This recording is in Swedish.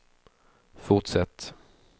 fortsätt